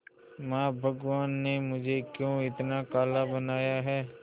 मां भगवान ने मुझे क्यों इतना काला बनाया है